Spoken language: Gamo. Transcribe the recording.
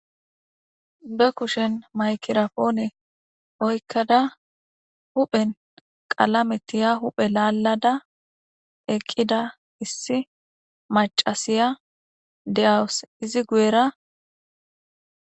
be kushen maykirapoone oykkada huphen qalametiya huphe laallada eqqida issi macasiya de7awus izi guyera